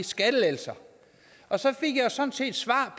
skattelettelser og så fik jeg jo sådan set svar